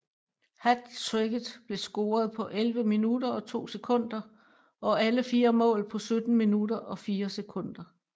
Hattricket blev scoret på 11 minutter og 2 sekunder og alle fire mål på 17 minutter og 4 sekunder